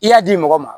I y'a di mɔgɔ ma